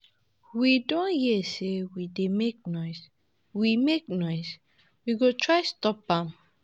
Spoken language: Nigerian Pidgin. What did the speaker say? We don hear say we dey make noise, we make noise, we go try stop am.